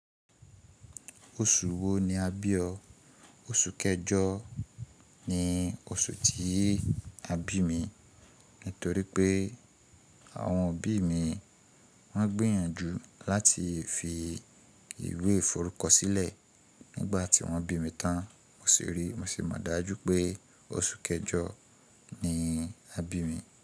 Oṣù wo ni a bí o? Oṣù kẹjọ ni oṣù tí a bí mi. Nítorí pé àwọn òbí mi wọ́n gbìyànjú láti fi ìwé ìforúkọ sílẹ̀ nígbà tí wọ́n bí mi tán. Mo sì rí, mo sì mọ̀ dájú pé oṣù kẹjọ ni a bí mi.